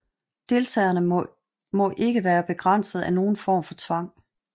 Deltagerne må ikke er begrænset af nogen form for tvang